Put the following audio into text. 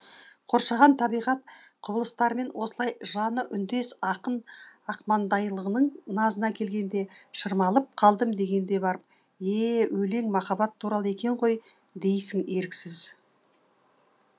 қоршаған табиғат құбылыстарымен осылай жаны үндес ақын ақмаңдайлының назына келгенде шырмалып қалдым дегенде барып е өлең махаббат туралы екен ғой дейсің еріксіз